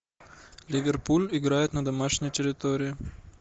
ливерпуль играет на домашней территории